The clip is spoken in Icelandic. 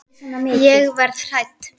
Ég verð hrædd.